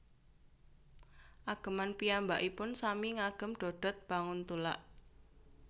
Ageman piyambakipun sami ngagem dodot banguntulak